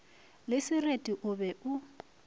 le sereti o be o